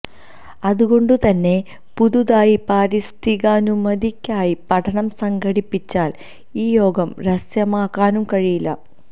അതുകൊണ്ട് തന്നെ പുതുതായി പാരിസ്ഥിതികാനുമതിക്കായി പഠനം സംഘടിപ്പിച്ചാൽ ഈ യോഗം രഹസ്യമാക്കാനും കഴിയില്ല